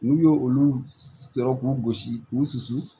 N'u ye olu sɔrɔ k'u gosi k'u susu